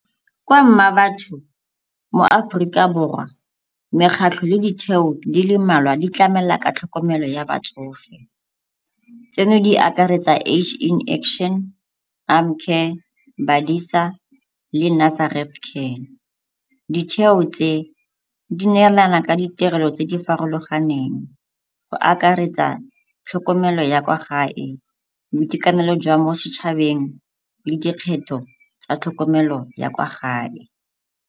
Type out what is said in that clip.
Kwa Mmabatho moAforika Borwa mekgatlho le ditheo di le mmalwa di tlamela ka tlhokomelo ya botsofe. Tseno di akaretsa in action, Arm Care, . Ditheo tse di neelana ka ditirelo tse di farologaneng go akaretsa tlhokomelo ya kwa gae, boitekanelo jwa mo setšhabeng le dikgetho tsa tlhokomelo ya kwa gae.